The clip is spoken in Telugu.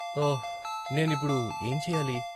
ఓహ్! నేను ఇప్పుడు ఏంచెయ్యాలి?